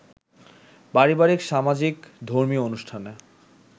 পারিবারিক, সামাজিক, ধর্মীয় অনুষ্ঠানে